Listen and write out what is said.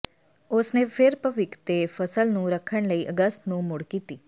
ਉਸ ਨੇ ਫਿਰ ਭਵਿੱਖ ਦੇ ਫਸਲ ਨੂੰ ਰੱਖਣ ਲਈ ਅਗਸਤ ਨੂੰ ਮੁੜ ਕੀਤੀ